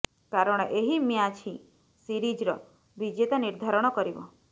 କାରଣ ଏହି ମ୍ୟାଚ ହିଁ ସିରିଜର ବିଜେତା ନିର୍ଦ୍ଧାରଣ କରିବ